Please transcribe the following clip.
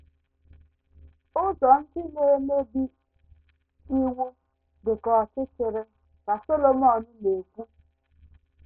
“ Ụzọ ndị na - emebi iwu dị ka ọchịchịrị, ” ka Solomọn na - ekwu.